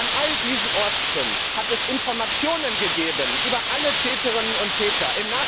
Und an all diesen Orten hat es Informationen gegeben über alle Täterinnen und Täter.